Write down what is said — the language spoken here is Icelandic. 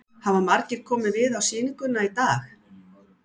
Hafa margir komið við á sýninguna í dag?